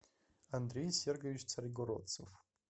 андрей сергович царьгородцев